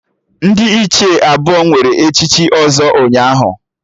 Ndị Ichie abụọ were echichi ọzọ ụnyaahụ